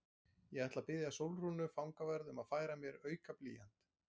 Ég ætla að biðja Sólrúnu fangavörð um að færa mér auka blýant.